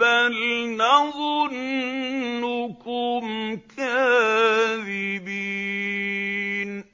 بَلْ نَظُنُّكُمْ كَاذِبِينَ